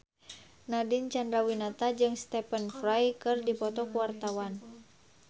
Nadine Chandrawinata jeung Stephen Fry keur dipoto ku wartawan